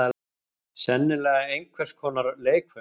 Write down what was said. Sennilega einhvers konar leikföng.